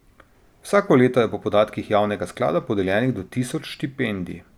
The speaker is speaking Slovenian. Vsako leto je po podatkih javnega sklada podeljenih do tisoč štipendij.